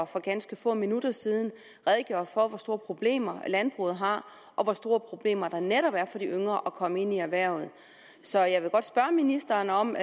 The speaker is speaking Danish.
for ganske få minutter siden redegjorde for hvor store problemer landbruget har og hvor store problemer der netop er for de yngre med at komme ind i erhvervet så jeg vil godt spørge ministeren om